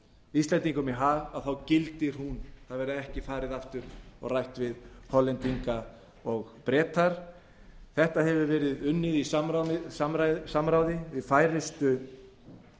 íslendingum í hag gildir hún það verði ekki farið aftur og rætt við hollendinga og breta þetta hefur verið unnið í samráði við færustu